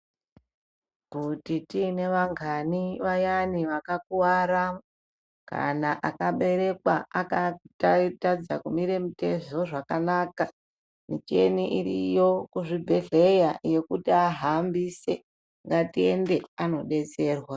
Kuti tine vangani vayani vakakuwara kana akaberekwa akatadza kumire mitezo zvakanaka micheni iriyo kuzvibhedhleya yekuti ahambise ngatiende anodetserwa.